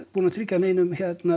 búið að tryggja neinum